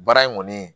Baara in kɔni